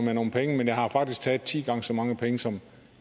nogle penge men jeg har faktisk taget ti gange så mange penge som